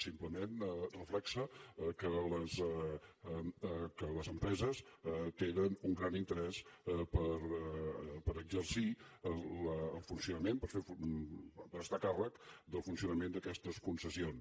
simplement reflecteix que les empreses tenen un gran interès per exercir el funcionament per estar a càrrec del funcionament d’aquestes concessions